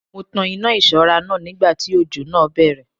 Mo tan iná ìṣọ́ra náà nígbà tí òjò náà bẹ̀rẹ̀